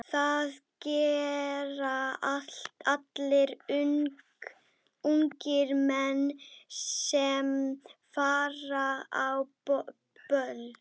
Nei, maður hefur verið að spá í það.